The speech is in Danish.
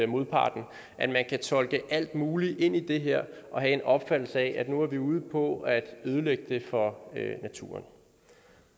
modparten at man kan tolke alt muligt ind i det her og have en opfattelse af at nu er vi ude på at ødelægge det for naturen